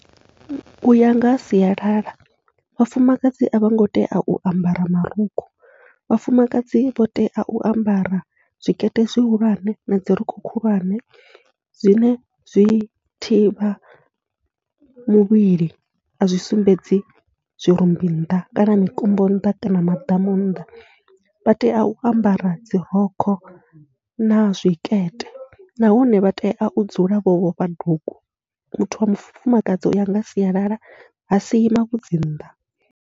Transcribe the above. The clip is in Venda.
Uya nga ha sialala vhafumakadzi avhongo tea u ambara marukhu, vhafumakadzi vha tea u ambara zwikete zwihulwane na dzirokho khulwane zwine zwi thivha mivhili azwi sumbedzi zwirumbi nnḓa kana mikombo nnḓa kana maḓamu nnḓa. Vha tea u ambara dzirokho na zwikete nahone vha tea u dzula vho vhofha dugu, muthu wa mufumakadzi uya nga sialala ha sii mavhudzi nnḓa.